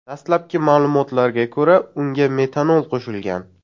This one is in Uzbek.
Dastlabki ma’lumotlarga ko‘ra, unga metanol qo‘shilgan.